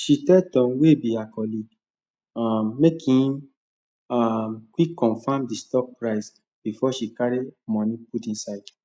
she tell tom wey be her colleague um make him um quick confam di stock price before she carry moni put inside